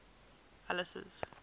alice's